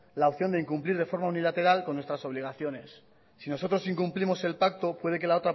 la opción de incumplir de forma unilateral con nuestras obligaciones si nosotros incumplimos el pacto puede que la